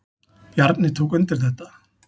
Bjarni tók undir þetta.